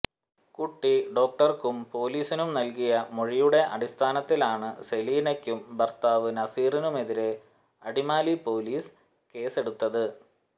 കുട്ടി ഡോക്ടര്ക്കും പൊലീസിനും നല്കിയ മൊഴിയുടെ അടിസ്ഥാനത്തിലാണ് സെലീനക്കും ഭര്ത്താവ് നസീറിനുമെതിരെ അടിമാലി പൊലീസ് കേസെടുത്തത്